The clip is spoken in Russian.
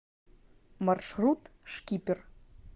маршрут шкипер